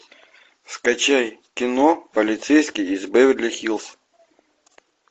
скачай кино полицейский из беверли хиллз